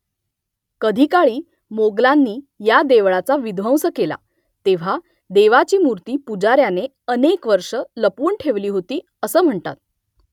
कधीकाळी मोगलांनी या देवळाचा विध्वंस केला तेव्हा देवीची मूर्ती पुजाऱ्याने अनेक वर्षं लपवून ठेवली होती , असं म्हणतात